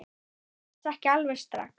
Settist ekki alveg strax.